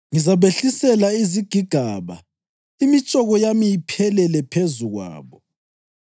Ngizabehlisela izigigaba, imitshoko yami iphelele phezu kwabo.